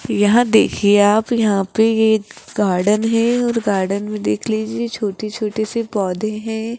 यह देखिए आप यहां पे ये एक गार्डन है और गार्डन में देख लीजिए छोटे-छोटे से पौधे हैं।